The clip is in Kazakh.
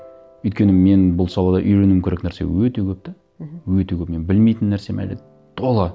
өйткені мен бұл салада үйренуім керек нәрсе өте көп те мхм өте көп мен білмейтін нәрсем әлі тола